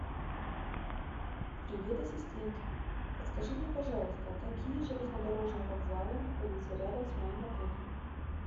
привет ассистент подскажи мне пожалуйста какие железнодорожные вокзалы находятся рядом с моим отелем